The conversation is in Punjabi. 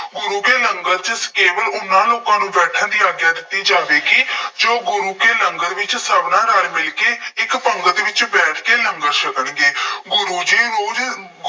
ਗੁਰੂ ਕੇ ਲੰਗਰ ਚ ਕੇਵਲ ਉਹਨਾ ਲੋਕਾਂ ਨੂੰ ਬੈਠਣ ਦੀ ਆਗਿਆ ਦਿੱਤੀ ਜਾਵੇਗੀ ਜੋ ਗੁਰੂ ਕੇ ਲੰਗਰ ਵਿੱਚ ਸਭਨਾਂ ਨਾਲ ਮਿਲ ਕੇ ਇੱਕ ਪੰਗਤ ਵਿੱਚ ਬੈਠ ਕੇ ਲੰਗਰ ਛਕਣਗੇ। ਗੁਰੂ ਜੀ